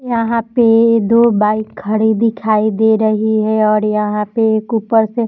यहां पे दो बाइक खड़ी दिखाई दे रही है और यहाँ पे एक ऊपर से ---